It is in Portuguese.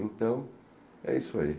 Então, é isso aí.